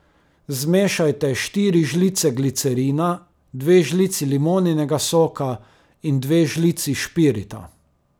Zmešajte štiri žlice glicerina, dve žlici limoninega soka in dve žlici špirita.